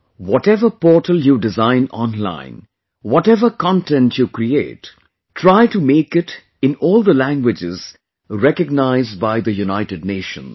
Whatever portal you design online; whatever content you create, try to make it in all the languages recognized by the United Nations